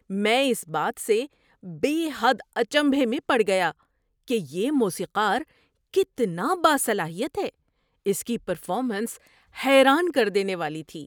میں اس بات سے بے حد اچنبھے میں پڑ گیا کہ یہ موسیقار کتنا باصلاحیت ہے۔ اس کی پرفارمینس حیران کر دینے والی تھی۔